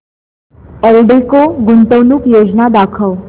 एल्डेको गुंतवणूक योजना दाखव